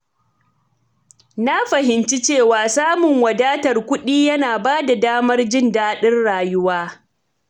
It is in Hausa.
Na fahimci cewa samun wadatar kuɗi yana ba da damar jin daɗin rayuwa.